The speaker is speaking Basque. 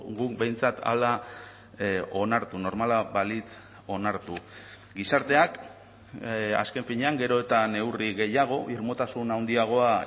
guk behintzat hala onartu normala balitz onartu gizarteak azken finean gero eta neurri gehiago irmotasun handiagoa